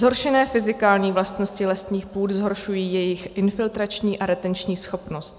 Zhoršené fyzikální vlastnosti lesních půd zhoršují jejich infiltrační a retenční schopnost.